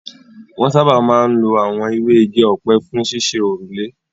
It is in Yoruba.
Wọn sáábà máa ń lo àwọn ewé igi ọ̀pẹ fún ṣíṣe òrùlé.